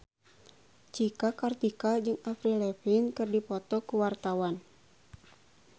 Cika Kartika jeung Avril Lavigne keur dipoto ku wartawan